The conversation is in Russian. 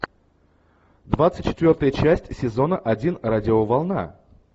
двадцать четвертая часть сезона один радиоволна